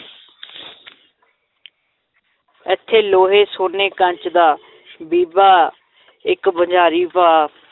ਏਥੇ ਲੋਹੇ ਸੋਨੇ ਕੱਚ ਦਾ ਬੀਬਾ ਇੱਕ ਬਜ਼ਾਰੀਂ ਭਾ